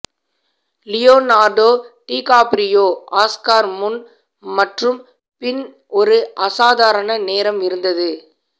Leonardo DiCaprio Oscar முன் மற்றும் பின் ஒரு அசாதாரண நேரம் இருந்தது